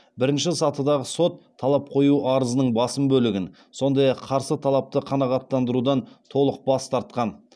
бірінші сатыдағы сот талап қою арызының басым бөлігін сондай ақ қарсы талапты қанағаттандырудан толық бас тартқан